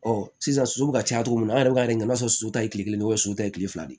sisan soso bɛ ka caya cogo min na an yɛrɛ b'a yira i b'a sɔrɔ su ta ye kile kelen so ye kile fila de ye